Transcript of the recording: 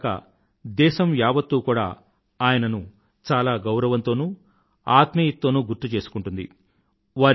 అంతేకాక దేశం యావత్తూ కూడా ఆయనను చాలా గౌరవంతోనూ ఆత్మీయత తోనూ గుర్తుచేసుకుంటుంది